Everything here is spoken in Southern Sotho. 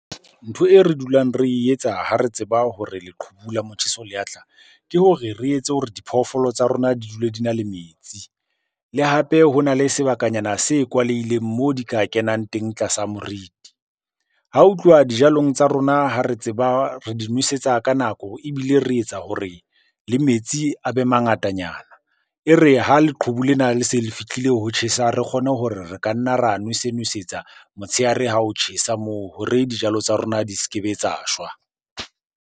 Ntho e re dulang re e etsa ha re tseba hore leqhubu la motjheso le tlang, ke hore re etse hore diphoofolo tsa rona di dule di na le metsi. Le hape hona le sebakanyana se kwalehileng mo di ka kenang teng tlasa moriti. Ha ho tluwa dijalong tsa rona ha re tseba re di nosetsa ka nako, ebile re etsa hore le metsi a be mangatanyana. E re ha leqhubu lena le se le fihlile ho tjhesa, re kgone hore re ka nna ra nwese-nwesetsa motshehare ha ho tjhesa moo hore dijalo tsa rona di se ke be tsa shwa.